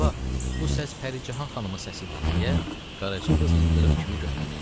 Baba, bu səs Pərican xanımın səsidir, deyə qaraca qız ildırım kimi götürüldü.